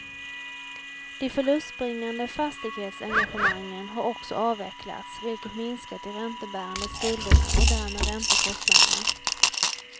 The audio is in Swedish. De förlustbringande fastighetsengagemangen har också avvecklats, vilket minskat de räntebärande skulderna och därmed räntekostnaderna.